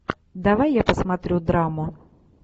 давай я посмотрю драму